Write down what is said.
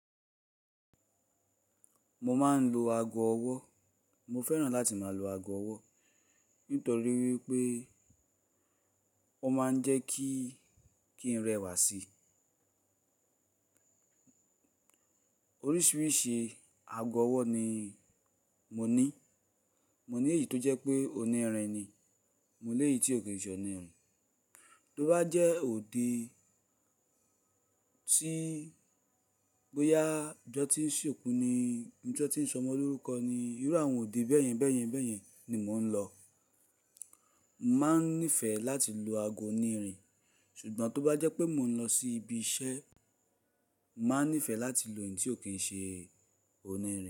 Mo máa ń lo ago ọwọ́. Mo fẹ́ràn láti máa lo ago ọwọ́ nítorí wípé ó máa ń jẹ́ kí, kí n rẹwà sí i. Oríṣiríṣi ago ọwọ́ ni mo ní. Mo ní èyí tó jẹ́ pé onírin ni, mo ní èyí tí ò kí n ṣe onírin. Tó bá jẹ́ òde tí bóyá ọjọ́ tí ń ṣòkú ni, bí ọjọ́ tí ń sọmọ lórúkọ ni, irú àwọn òde bẹ́ẹ̀yẹn bẹ́ẹ̀yẹn bẹ́ẹ̀yẹn ni mò ń lọ. Mo máa ń nífẹ̀ẹ́ láti lo ago onírin ṣùgbọ́n tó bá jẹ́ pé mò ń lọ sí ibi iṣẹ́, màá nífẹ̀ẹ́ láti lo èyí tí ò kí n ṣe onírin.